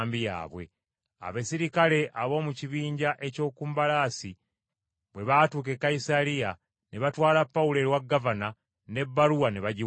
Abaserikale ab’omu kibinja eky’oku mbalaasi bwe baatuuka e Kayisaliya ne batwala Pawulo ewa gavana n’ebbaluwa ne bagiwaayo.